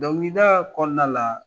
Dɔnkilida kɔnɔna la